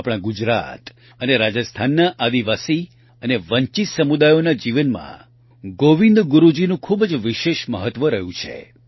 આપણા ગુજરાત અને રાજસ્થાનના આદિવાસી અને વંચિત સમુદાયોના જીવનમાં ગોવિંદ ગુરૂજીનું ખૂબ જ વિશેષ મહત્વ રહ્યું છે